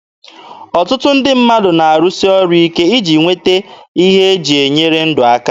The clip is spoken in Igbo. Ọtụtụ ndị mmadụ na-arụsi ọrụ ike iji nweta ihe e ji enyere ndụ aka.